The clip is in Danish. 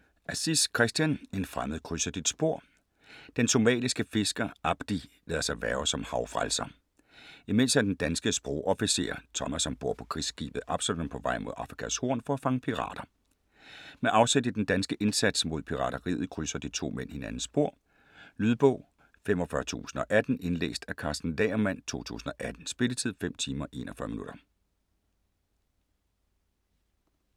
Aziz, Christian: En fremmed krydser dit spor Den somaliske fisker Abdi lader sig hverve som havfrelser. Imens er den danske sprogofficer, Thomas ombord på krigsskibet Absalon på vej mod Afrikas Horn for at fange pirater. Med afsæt i den danske indsats mod pirateriet krydser de to mænd hinandens spor. Lydbog 45018 Indlæst af Karsten Lagermann, 2018. Spilletid: 5 timer, 41 minutter.